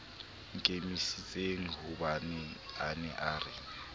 nkimisitsenghobane a ne a re